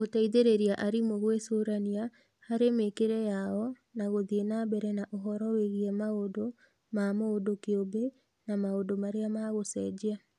Gũteithĩrĩria arimũ gwĩcũrania harĩ mĩĩkĩre yao na gũthiĩ na mbere na ũhoro wĩgiĩ maũndũ ma mũndũ kĩũmbe na maũndũ marĩa ma gũcenjia.